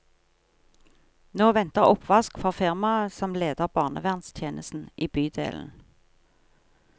Nå venter oppvask for firmaet som leder barnevernstjenesten i bydelen.